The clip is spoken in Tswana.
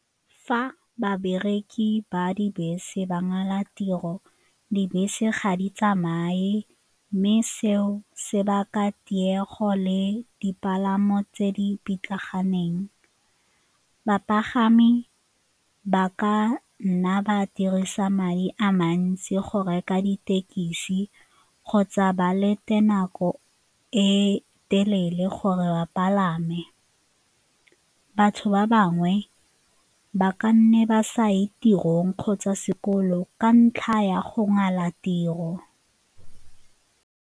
Fa babereki ba dibese ba ngala tiro, dibese ga di tsamaye mme seo se baka tiego le dipalamo tse di pitlaganeng. Bapagami ba ka nna ba dirisa madi a mantsi go reka ditekisi kgotsa ba lete nako e telele gore ba palame. Batho ba bangwe ba ka nne ba sa ye tirong kgotsa sekolo ka ntlha ya go ngala tiro.